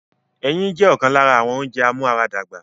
Ẹyin jẹ́ ọ̀kan lára àwọn ounjẹ amúaradàgbà